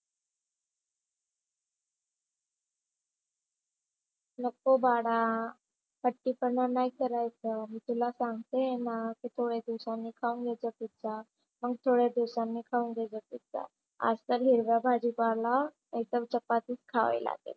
नको बाळा हट्टी पण नाही करायचं. मी तुला सांगते आहे ना तू थोड्या दिवसांनी खाऊन घे तो पिझ्झा. मंग थोड्या दिवसांनी खाऊन घे जा पिझ्झा. आज तर हिरव्या भाजी पाला नाही तर चपातीच खावे लागेल.